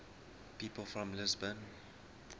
people from lisbon